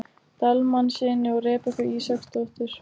Dalmannssyni og Rebekku Ísaksdóttur.